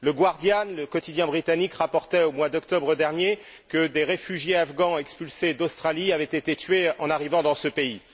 Le Guardian le quotidien britannique, rapportait au mois d'octobre dernier que des réfugiés afghans expulsés d'Australie avaient été tués en arrivant dans leur pays.